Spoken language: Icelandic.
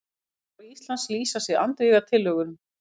Fulltrúar Íslands lýsa sig andvíga tillögunum